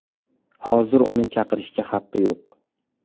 Hozir uni chiqarishga haqqi yo‘q.